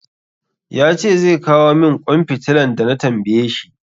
Ya ce zai kawo min ƙwan fitilan da na tambaye shi.